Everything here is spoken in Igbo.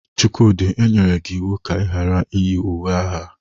Chukwudi, e nyere gi iwu ka i ghara iyi uwe agha!